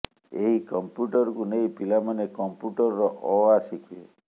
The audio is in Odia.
ଏହି କମ୍ପୁ୍ୟଟରକୁ ନେଇ ପିଲାମାନେ କମ୍ପୁ୍ୟଟରର ଅ ଆ ଶିଖିବେ